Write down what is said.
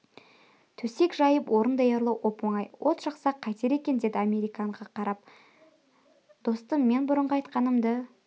төсек жайып орын даярлау оп-оңай от жақсақ қайтер екен деді американға қарап достым мен бұрынғы айтқанымды